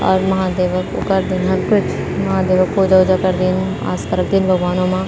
अर महादेव कु करदीन कुछ महादेव क पूजा-ऊजा करदीन आस्था रख्दीन भगवानो मा।